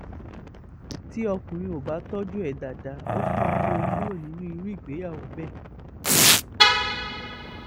tí ọkùnrin ò bá tọ́jú ẹ̀ dáadáa ó sàn kí ó kúrò nínú irú ìgbéyàwó bẹ́ẹ̀